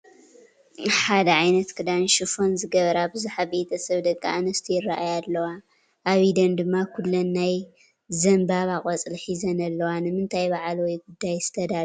ሓደ ዓይነት ክዳን ሽፎን ዝገበራ ብዙሓት ቤተሰብ ደቂ ኣንስትዮ ይራኣያ ኣለዋ፡፡ ኣብ ኢደን ድማ ኩለን ናይ ዘንባባ ቆፅሊ ሒዘን ኣለዋ፡፡ ንምንታይ በዓል ወይ ጉዳይ ዝተዳለዋ ይመስላ?